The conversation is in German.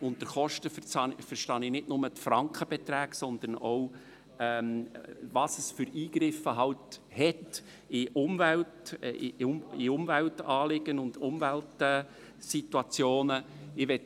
Unter Kosten verstehe ich nicht nur die Frankenbeträge, sondern auch, welche Eingriffe es in die Umweltanliegen und Umweltsituationen hat.